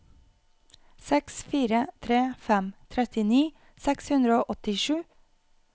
seks fire tre fem trettini seks hundre og åttisju